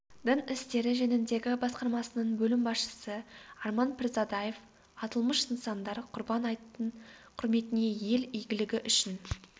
дін істері жөніндегі басқармасының бөлім басшысы арман пірзадаев аталмыш нысандар құрбан айттың құрметіне ел игілігі үшін